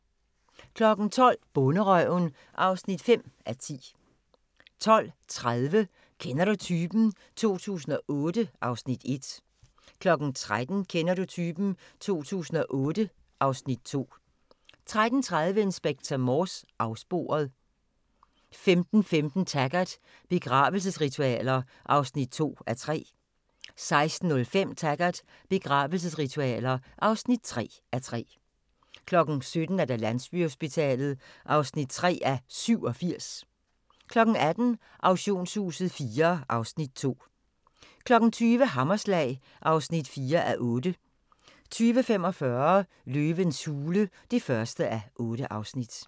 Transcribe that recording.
12:00: Bonderøven (5:10) 12:30: Kender du typen? 2008 (Afs. 1) 13:00: Kender du typen? 2008 (Afs. 2) 13:30: Inspector Morse: Afsporet 15:15: Taggart: Begravelsesritualer (2:3) 16:05: Taggart: Begravelsesritualer (3:3) 17:00: Landsbyhospitalet (3:87) 18:00: Auktionshuset IV (Afs. 2) 20:00: Hammerslag (4:8) 20:45: Løvens hule (1:8)